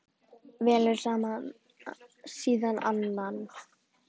Velur síðan annan.